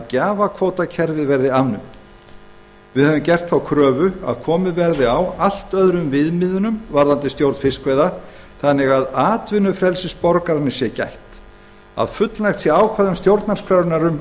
gjafakvótakerfið verði afnumið við höfum gert þá kröfu að komið verði á allt öðrum viðmiðunum í stjórn fiskveiða þannig að atvinnufrelsis borgaranna sé gætt að ákvæðum stjórnarskrárinnar um